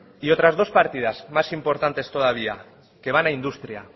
y otras dos partidas más importantes todavía que van a industria